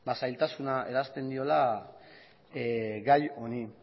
zailtasuna eransten diola gai honi